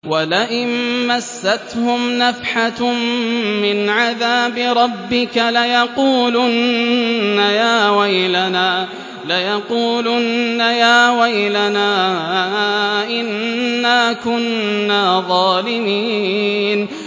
وَلَئِن مَّسَّتْهُمْ نَفْحَةٌ مِّنْ عَذَابِ رَبِّكَ لَيَقُولُنَّ يَا وَيْلَنَا إِنَّا كُنَّا ظَالِمِينَ